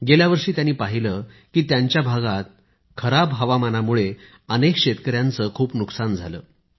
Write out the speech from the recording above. गेल्या वर्षी त्यांनी पहिले की त्यांच्या भागात खराब हवामानामुळे अनेक शेतकऱ्यांचे खूप नुकसान झाले